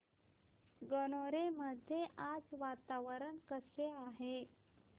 गणोरे मध्ये आज वातावरण कसे आहे